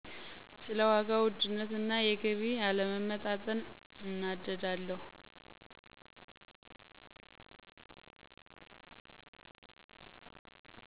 ስለ ዋጋ ውድነት እና የገቢ አለመመጣጠን እናደዳለሁ።